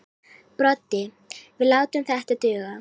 Broddi: Við látum þetta duga.